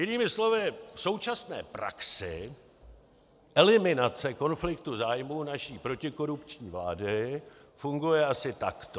Jinými slovy v současné praxi eliminace konfliktů zájmů naší protikorupční vlády funguje asi takto.